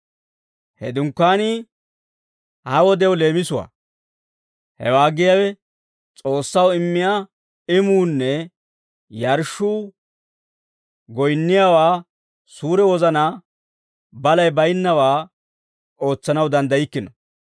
He Dunkkaanii ha wodew leemisuwaa; hewaa giyaawe S'oossaw immiyaa imuunne yarshshuu goyinniyaawaa suure wozanaa balay baynnawaa ootsanaw danddaykkino.